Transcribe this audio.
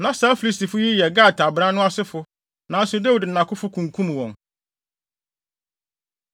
buu Israel animtiaa, twitwaa mpoa. Na Dawid nuabarima Simea babarima Yonatan kum no.